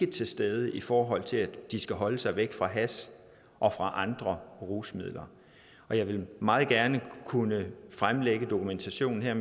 til stede i forhold til at de skal holde sig væk fra hash og andre rusmidler og jeg ville meget gerne kunne fremlægge dokumentationen her